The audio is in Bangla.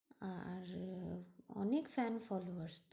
আর আহ অনেক fan follower